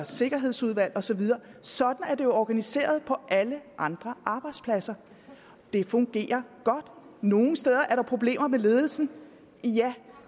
sikkerhedsudvalg og så videre sådan er det jo organiseret på alle andre arbejdspladser det fungerer godt nogle steder er der problemer med ledelsen ja